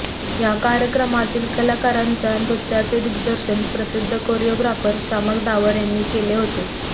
या कार्यक्रमातील कलाकारांच्या नृत्याचे दिग्दर्शन प्रसिध्द कोरीओग्राफर शामक दावर यांनी केले होते